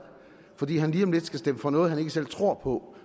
fordi han lige om lidt skal stemme for noget han ikke selv tror på